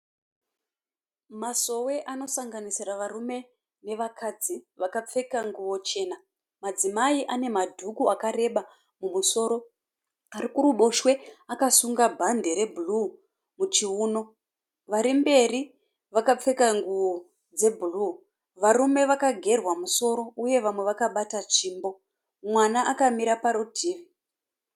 Masowe anosanganisira varume nevakadzi vakapfeka nguwo chena. Madzimai ane madhuku akareba mumusoro. Ari kuruboshwe akasunga bhandi rebhuruu muchiuno vari mberi vakapfeka nguwo dzebhuruu. Varume vakagerwa musoro uye vamwe vakabata tsvimbo. Mwana akamira parutivi.